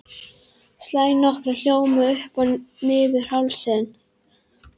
Slær nokkra hljóma upp og niður hálsinn.